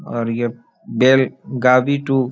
और ये बैल गावी टू --